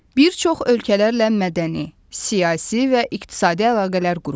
Bir çox ölkələrlə mədəni, siyasi və iqtisadi əlaqələr qurur.